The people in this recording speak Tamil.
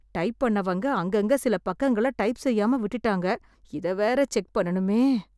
டைப் பண்ணவங்க அங்கங்க சில பக்கங்கள டைப் செய்யாம விட்டுட்டாங்க... இத வேற செக் பண்ணணுமே...